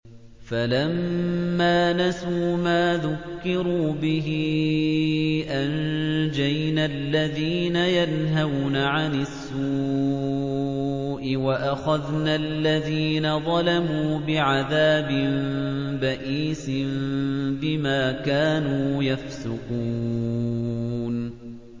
فَلَمَّا نَسُوا مَا ذُكِّرُوا بِهِ أَنجَيْنَا الَّذِينَ يَنْهَوْنَ عَنِ السُّوءِ وَأَخَذْنَا الَّذِينَ ظَلَمُوا بِعَذَابٍ بَئِيسٍ بِمَا كَانُوا يَفْسُقُونَ